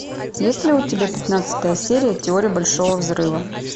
есть ли у тебя пятнадцатая серия теория большого взрыва